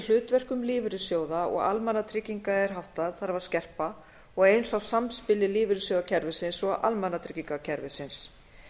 hlutverkum lífeyrissjóða og almannatrygginga er háttað þarf að skerpa og eins á samspili lífeyrissjóðakerfisins og almannatryggingakerfisins